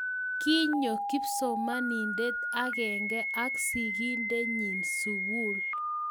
Kinyo kipsomaniande akenge ak sikintenyi sukul